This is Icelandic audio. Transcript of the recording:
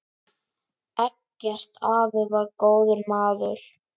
Eggert afi var góður maður.